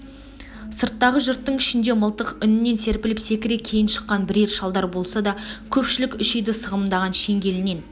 сырттағы жұрттың ішінде мылтық үнінен серпіліп секіре кейін шыққан бірер шалдар болса да көпшілік үш үйді сығымдаған шеңгелінен